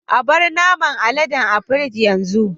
Abar naman aleden a pirig yanzu.